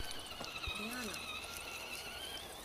риана